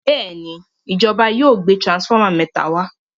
Béèni ìjọba yóò gbé transformer méta wá.